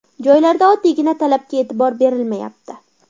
Joylarda oddiy talabga e’tibor berilmayapti.